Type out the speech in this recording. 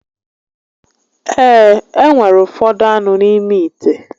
Ee, e nwere ufodu anu n'ime ite